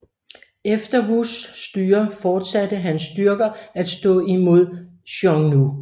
Efter Wus styre fortsatte Hans styrker at stå imod Xiongnu